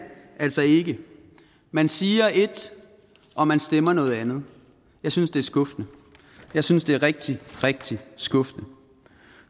altså ikke man siger et og man stemmer noget andet jeg synes det er skuffende jeg synes det er rigtig rigtig skuffende